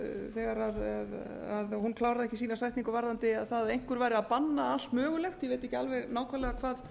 þegar hún kláraði ekki sína setningu varðandi það að einhver væri að banna allt mögulegt ég veit ekki alveg nákvæmlega hvað